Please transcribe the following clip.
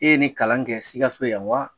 E ye ni kalan kɛ sikaso yan wa